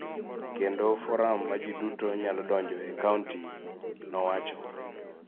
kendo forum ma ji duto nyalo donjoe e kaonti, nowacho.